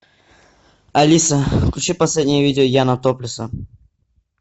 алиса включи последнее видео яна топлеса